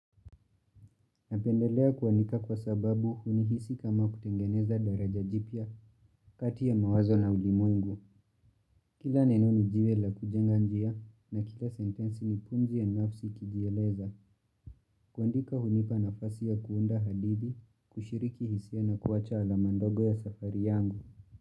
Napendelea kuandika kwa sababu hunihisi kama kutengeneza daraja jipya kati ya mawazo na ulimwengu. Kila neno ni jiwe la kujenga njia na kila sentensi ni pumzi ya nafsi kijieleza. Kuandika hunipa nafasi ya kuunda hadithi, kushiriki hisia na kuwacha alama ndogo ya safari yangu.